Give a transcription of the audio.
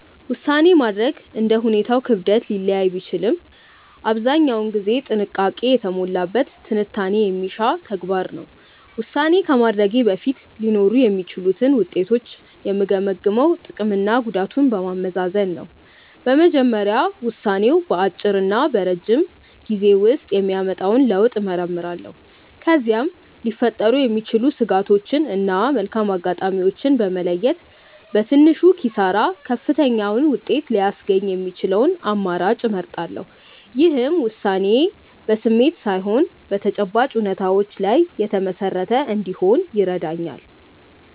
ውሳኔ ማድረግ እንደ ሁኔታው ክብደት ሊለያይ ቢችልም አብዛኛውን ጊዜ ጥንቃቄ የተሞላበት ትንታኔ የሚሻ ተግባር ነው። ውሳኔ ከማድረጌ በፊት ሊኖሩ የሚችሉትን ውጤቶች የምገመግመው ጥቅምና ጉዳቱን በማመዛዘን ነው። በመጀመሪያ ውሳኔው በአጭርና በረጅም ጊዜ ውስጥ የሚያመጣውን ለውጥ እመረምራለሁ። ከዚያም ሊፈጠሩ የሚችሉ ስጋቶችን እና መልካም አጋጣሚዎችን በመለየት፣ በትንሹ ኪሳራ ከፍተኛውን ውጤት ሊያስገኝ የሚችለውን አማራጭ እመርጣለሁ። ይህም ውሳኔዬ በስሜት ላይ ሳይሆን በተጨባጭ እውነታዎች ላይ የተመሰረተ እንዲሆን ይረዳኛል።